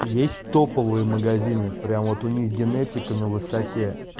есть топовые магазины прямо вот у них генетика на высоте